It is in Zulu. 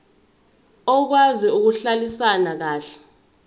okwazi ukuhlalisana kahle